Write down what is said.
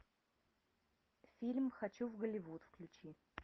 фильм хочу в голливуд включи